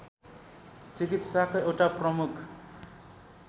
चिकित्साको एउटा प्रमुख